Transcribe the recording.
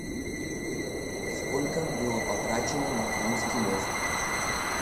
сколько было потрачено на крымский мост